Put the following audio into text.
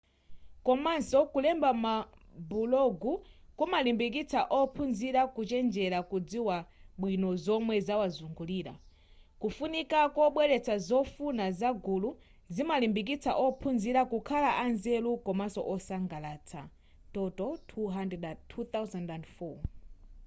komanso kulemba mabulogu kumalimbikitsa ophunzira kuchenjera kudziwa bwino zomwe zawazungulira.” kufunika kobweretsa zofuna za gulu zimalimbikitsa ophunzira kukhala a nzeru komanso osangalatsa toto 2004